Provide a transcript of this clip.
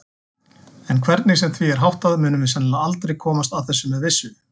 En hvernig sem því er háttað munum við sennilega aldrei komast að þessu með vissu.